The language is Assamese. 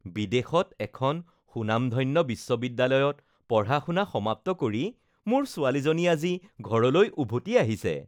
বিদেশত এখন সুনামধন্য বিশ্ববিদ্যালয়ত পঢ়া-শুনা সমাপ্ত কৰি মোৰ ছোৱালীজনী আজি ঘৰলৈ উভতি আহিছে